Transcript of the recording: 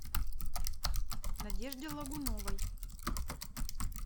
надежде логуновой